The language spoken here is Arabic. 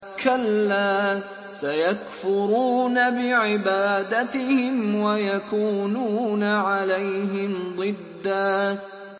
كَلَّا ۚ سَيَكْفُرُونَ بِعِبَادَتِهِمْ وَيَكُونُونَ عَلَيْهِمْ ضِدًّا